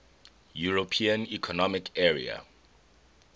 european economic area